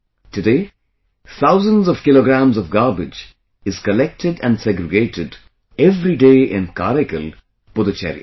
Today, thousands of kilograms of garbage is collected and segregated every day in Karaikal, Puducherry